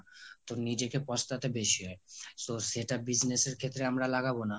তো নিজেকে পস্তাতে বেশি হয় সেটা so সেটা business এর ক্ষেত্রে আমরা লাগাবো না